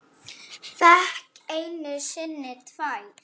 Fékk einu sinni tvær.